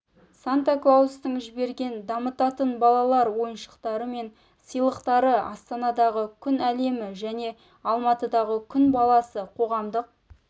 санта клаустың жіберген дамытатын балалар ойыншықтары мен сыйлықтары астанадағы күн әлемі және алматыдағы күн баласы қоғамдық